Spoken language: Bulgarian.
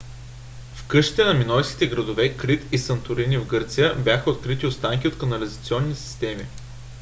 в къщите на минойските градове крит и санторини в гърция бяха открити останки от канализационни системи